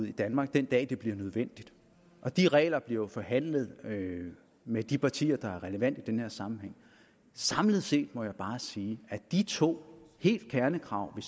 i danmark den dag det bliver nødvendigt og de regler bliver jo forhandlet med de partier der er relevante i den her sammenhæng samlet set må jeg bare sige at de to kernekrav vi